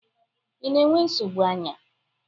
ị na-enwe nsogbu anya?